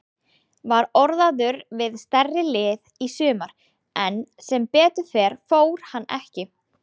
Var orðaður við stærri lið í sumar en sem betur fer fór hann ekki.